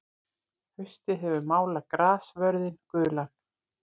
Haustið hefur málað grassvörðinn gulan.